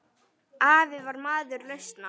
Afi var maður lausna.